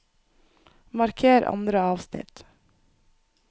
Marker andre avsnitt